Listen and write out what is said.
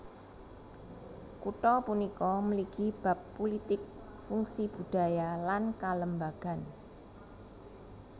Kutha punika mligi bab pulitik fungsi budaya lan kalembagan